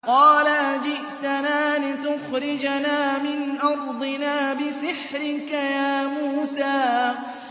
قَالَ أَجِئْتَنَا لِتُخْرِجَنَا مِنْ أَرْضِنَا بِسِحْرِكَ يَا مُوسَىٰ